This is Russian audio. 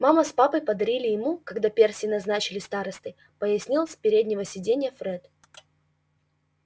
мама с папой подарили ему когда перси назначили старостой пояснил с переднего сиденья фред